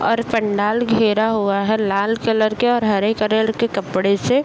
और पंडाल घेरा हुआ है लाल कलर के और हरे कलर के कपड़े से।